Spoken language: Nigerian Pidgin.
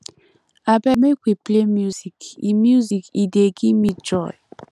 abeg make we play music e music e dey give me joy